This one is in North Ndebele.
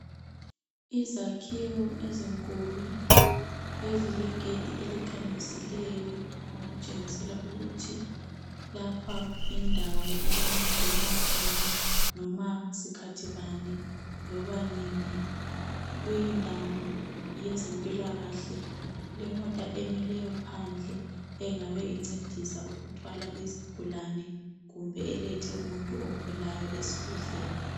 Izakhiwo ezinkulu ezilegedi elikhamisileyo okutshengisela ukuthi lapha yindawo okungangenwa khona noma sikhathi bani loba nini kuyindawo yezempilakahle kulemota emileyo phandle engabe incedisa ukuthwala izigulane kumbe elethe umuntu ogulayo esibhedlela